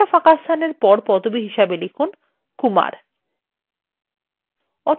একটা স্পেস এর পর পদবি হিসাবে kumar লিখুন